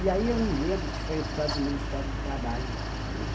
E aí eu não lembro se foi a história do Ministério do Trabalho.